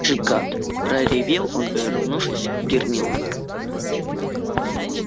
ишь гад проревел он повернувшись к гермионе